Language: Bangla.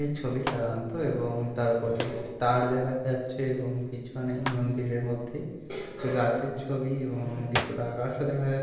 ছবির অন্ত এবং তার উপরে তার দেখা যাচ্ছে এবং পিছনে মন্দিরের মধ্যে গাছের ছবি এবং কিছু আকাশও দেখা --।